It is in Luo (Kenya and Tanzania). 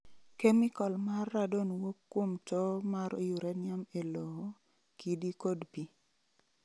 Kemikol mar Radon wuok kuom towo mar uranium e lowo, kidi, kod pi.